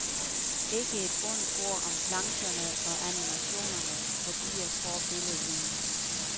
Ikke et ondt ord om plancherne og animationerne, de er forbilledlige.